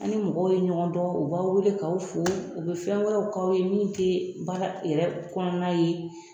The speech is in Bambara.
An ni mɔgɔw ye ɲɔgɔn dɔ, u b'a wele k'aw fo, u be fnɛ wɛrɛw k'aw ye min te baara yɛrɛ kɔnɔna ye